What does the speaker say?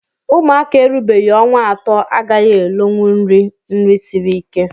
Ụmụaka erubeghị ọnwa atọ agaghị elonwunri nri siri ike